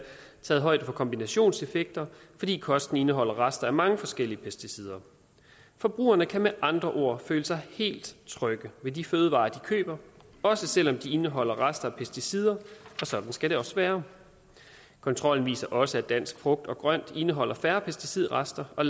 taget højde for kombinationseffekter fordi kosten indeholder rester af mange forskellige pesticider forbrugerne kan med andre ord føle sig helt trygge ved de fødevarer de køber også selv om de indeholder rester af pesticider og sådan skal det også være kontrollen viser også at dansk frugt og grønt indeholder færre pesticidrester og